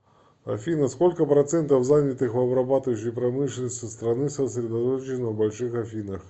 афина сколько процентов занятых в обрабатывающей промышленности страны сосредоточено в больших афинах